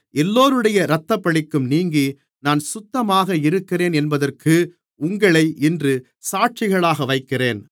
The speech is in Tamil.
எல்லோருடைய இரத்தப்பழிக்கும் நீங்கி நான் சுத்தமாக இருக்கிறேன் என்பதற்கு உங்களை இன்று சாட்சிகளாக வைக்கிறேன்